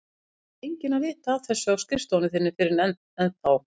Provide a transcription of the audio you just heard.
Það þarf enginn að vita af þessu á skrifstofu þinni fyrr en þá.